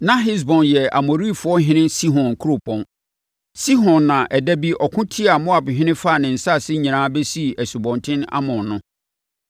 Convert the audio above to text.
Na Hesbon yɛ Amorifoɔhene Sihon Kuropɔn. Sihon na ɛda bi ɔko tiaa Moabhene faa ne nsase nyinaa bɛsii Asubɔnten Arnon no.